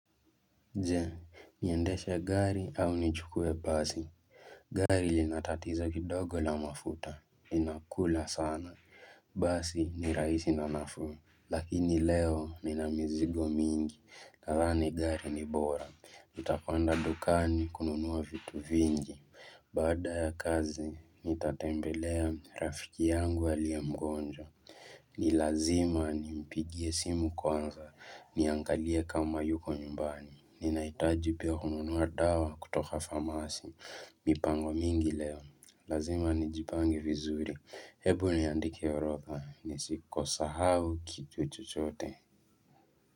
Je, niendeshe gari au nichukuwe basi. Gari linatatizo kidogo la mafuta. Linakula sana. Basi ni rahisi na nafuu. Lakini leo ninamizigo mingi. Nadhani gari ni bora. Nitapanda dukani kununua vitu vingi. Baada ya kazi, nitatembelea rafiki yangu aliye mgonjwa. Nilazima ni mpigie simu kwanza. Niangalie kama yuko nyumbani. Ninahitaji pia kununua dawa kutoka famasi, mipango mingi leo, lazima nijipange vizuri, hebu niandike orodha, nisikosahau kitu chochote.